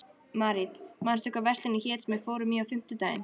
Marit, manstu hvað verslunin hét sem við fórum í á fimmtudaginn?